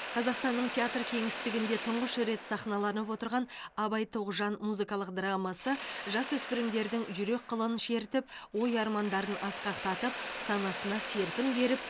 қазақстанның театр кеңістігінде тұңғыш рет сахналанып отырған абай тоғжан музыкалық драмасы жасөспірімдердің жүрек қылын шертіп ой армандарын асқақтатып санасына серпін беріп